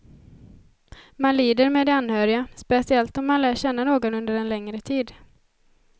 Man lider med de anhöriga, speciellt om man lär känna någon under en längre tid.